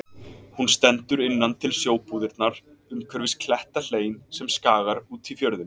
Hún stendur innan til við sjóbúðirnar umhverfis klettahlein sem skagar út í fjörðinn.